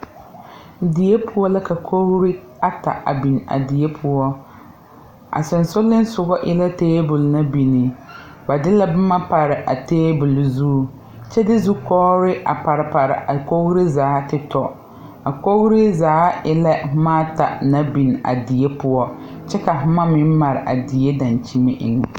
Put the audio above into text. Deɛ pou la ka koɔri ata a bin a sensulinso eei tabol nan bing ba de la buma paree a tabol zu kye de Zukoɔre a pare pare a kouree zaa te tɔ a koɔree zaa e la buma ata nang bing a deɛ pou kye ka buma meng mari a deɛ dankyeni enga.